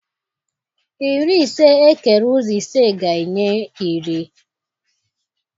Iri ise ekere ụzọ ise ga-enye iri.